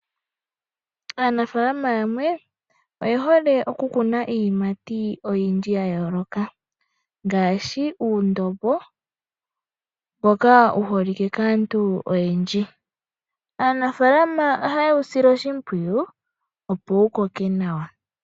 Aanafaalama yamwe oye hole oku kuna iiyimati oyindji, ngaashi uundobo mboka wu holike kaantu oyendji. Aanafaalama oha ye wu sile oshi mpwiyu opo wu koke nawa.